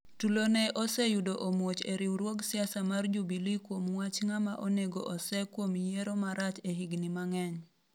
tulo ne oseyudo omuoch e riwruog siasa mar Jubilee kuom wach ng'ama onego osee kuom yiero marach e higni mang'eny